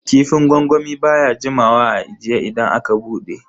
Kifin gwangwami baya jimawa a ajiye idan aka bude.